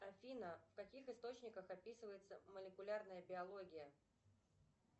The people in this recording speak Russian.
афина в каких источниках описывается молекулярная биология